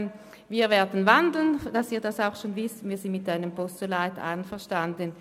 Wir sind damit einverstanden, die Motion in ein Postulat umzuwandeln.